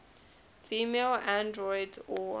female androids or